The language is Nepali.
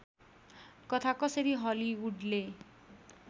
कथा कसरी हलिउडले